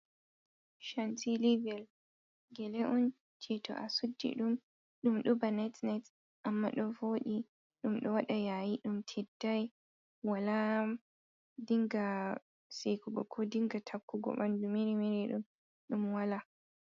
Chantilivel. gele on je to a suɗɗi ɗum ɗum ɗoba net net amma ɗo voɗi. Ɗum ɗo waɗa yayi ɗum tiɗɗai. Wala ɗinga seikugo ko ɗinga takkugo banɗu merimeri ɗo. Ɗum wala.